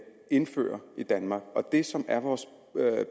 indføre i danmark det som er vores